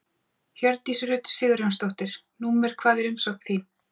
Hjördís Rut Sigurjónsdóttir: Númer hvað er umsóknin þín?